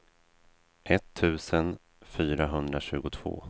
etttusen fyrahundratjugotvå